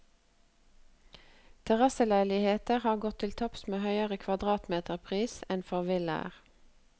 Terrasseleiligheter har gått til topps med høyere kvadratmeterpris enn for villaer.